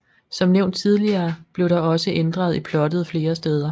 Som nævnt tidligere blev der også ændret i plottet flere steder